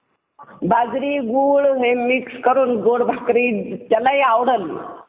एकोणीशे एकवीस व एकोणीशे तीस या साली झालेल्या परिषधांमध्ये सुद्धा जपानने उस्फुर्तपणे भाग घेतला एकोणीशे सदुसष्ट मध्ये